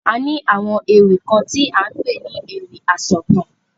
A ní àwọn ewì kan ti à ń pè ní ewì asọ̀taǹ.